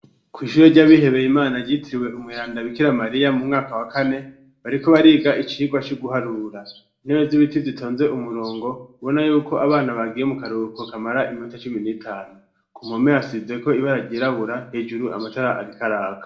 Kw'ishuro ry'abihebeye imana ryitiriwe umweranda bikira mariya mu mwaka wa kane .Bariko bariga icirwa co guharura intebe z'ibiti zitonze umurongo bona yuko abana bagiye mu karuruko kamara iminota cumi n'itanu ku mome yasize ko ibara ryirabura hejuru amatara arikaraka.